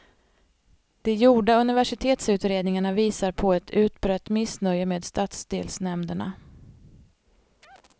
De gjorda universitetsutredningarna visar på ett utbrett missnöje med stadsdelsnämnderna.